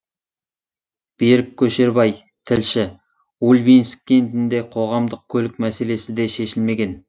берік көшербай тілші ульбинск кентінде қоғамдық көлік мәселесі де шешілмеген